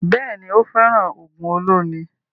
Bẹ́ẹ̀ni, ó fẹ́ràn ògùn olómi